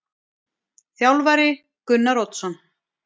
Þjálfari: Gunnar Oddsson.